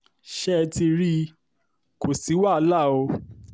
ṣé ẹ ti rí i kó sì wàhálà o